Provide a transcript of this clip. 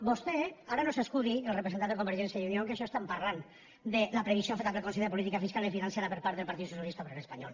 vostè ara no s’escudi el representant de convergència i unió en el fet que en això estan parlant de la previsió feta pel consell de política fiscal i financera per part del partit socialista obrero español